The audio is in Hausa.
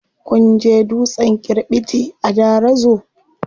Kun je dutsen kirɓiti a Darazo?